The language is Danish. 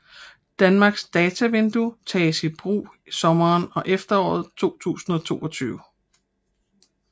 Danmarks Datavindue tages i brug sommeren og efteråret 2022